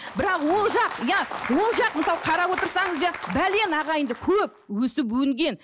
бірақ ол жақ иә ол жақ мысалы қарап отырсаңыз иә ағайынды көп өсіп өнген